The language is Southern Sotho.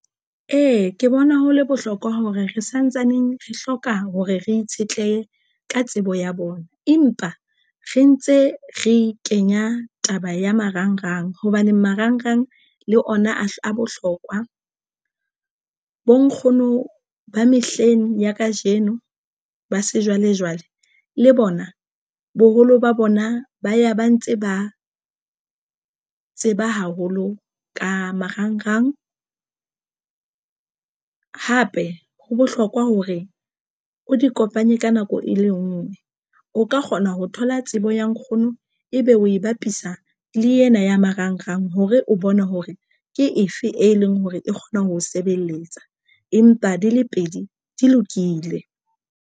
Ee, ke bona ho le bohlokwa hore re santsaneng re hloka hore re itshetlehe ka tsebo ya bona empa re ntse re kenya taba ya marangrang hobane marangrang le ona a bohlokwa bo nkgono ba mehleng ya kajeno ba sejwalejwale le bona boholo ba bona ba ya ba ntse ba tseba haholo ka marangrang. Hape ho bohlokwa hore o di kopanye ka nako e le ngwe. O ka kgona ho thola tsebo ya nkgono ebe o e bapisa le ena ya marangrang hore o bone hore ke efe e leng hore e kgona ho sebeletsa empa di le pedi di lokile.